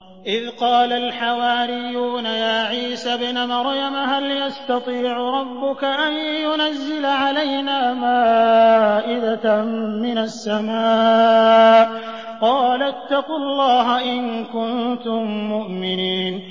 إِذْ قَالَ الْحَوَارِيُّونَ يَا عِيسَى ابْنَ مَرْيَمَ هَلْ يَسْتَطِيعُ رَبُّكَ أَن يُنَزِّلَ عَلَيْنَا مَائِدَةً مِّنَ السَّمَاءِ ۖ قَالَ اتَّقُوا اللَّهَ إِن كُنتُم مُّؤْمِنِينَ